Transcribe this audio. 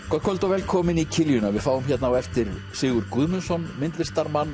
kvöld og velkomin í við fáum hérna á eftir Sigurð Guðmundsson myndlistarmann